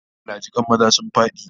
Allah jikan maza sun fadi!